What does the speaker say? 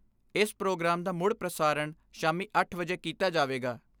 ਇਸ ਪ੍ਰੋਗਰਾਮ ਦਾ ਮੁੜ ਪ੍ਰਸਾਰਣ ਸ਼ਾਮੀ 8 ਵਜੇ ਕੀਤਾ ਜਾਵੇਗਾ।